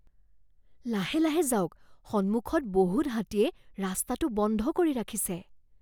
লাহে লাহে যাওক। সন্মুখত বহুত হাতীয়ে ৰাস্তাটো বন্ধ কৰি ৰাখিছে।